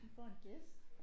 Vi får en gæst